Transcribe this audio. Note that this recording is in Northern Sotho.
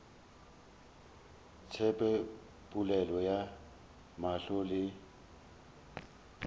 tsebe polelo ya mahlo le